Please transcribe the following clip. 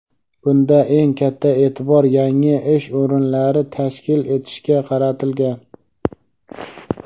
Bunda eng katta e’tibor yangi ish o‘rinlari tashkil etishga qaratilgan.